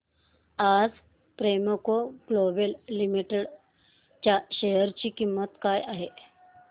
आज Premco global limited च्या share ची किंमत काय आहे